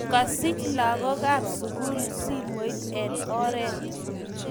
Kasich lakok ab sukul simoit en oret .